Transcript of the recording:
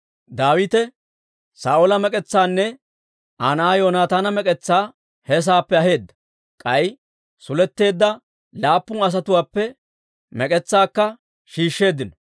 Daawite Saa'oola mek'etsaanne Aa na'aa Yoonataana mek'etsaa he saappe aheedda; k'ay suletteedda laappun asatuwaappe mek'etsaakka shiishsheeddino.